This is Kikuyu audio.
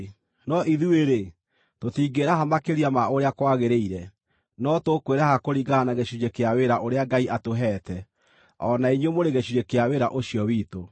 No ithuĩ-rĩ, tũtingĩĩraha makĩria ma ũrĩa kwagĩrĩire, no tũkwĩraha kũringana na gĩcunjĩ kĩa wĩra ũrĩa Ngai atũheete, o na inyuĩ mũrĩ gĩcunjĩ kĩa wĩra ũcio witũ.